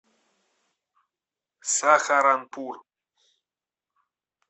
сахаранпур